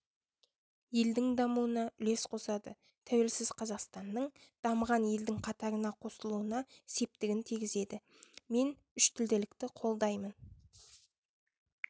елдің дамуына үлес қосады тәуелсіз қазақстанның дамыған елдің қатарына қосылуына септігін тигізеді мен үштілділікті қолдаймын